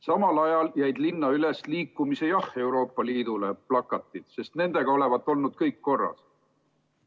Samal ajal jäid linna üles Euroopa Liiduga liitumist pooldavad plakatid, sest nendega olevat olnud kõik korras.